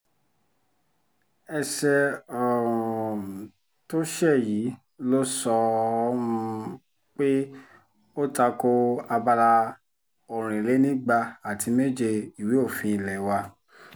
ẹsẹ um tó ṣe yìí ló sọ um pé ó ta ko abala ọ̀rìnlénígba àti méje ìwé òfin ilé wa